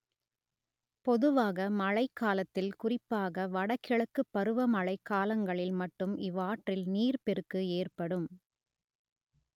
பொதுவாக மழைக்காலத்தில் குறிப்பாக வடகிழக்குப் பருவமழைக் காலங்களில் மட்டும் இவ்வாற்றில் நீர்ப்பெருக்கு ஏற்படும்